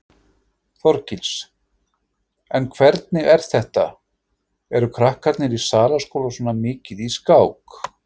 Þorgils: En hvernig er þetta, eru krakkarnir í Salaskóla svona mikið í skák?